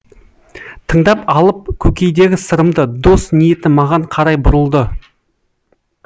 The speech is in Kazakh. тыңдап алып көкейдегі сырымды дос ниеті маған қарай бұрылды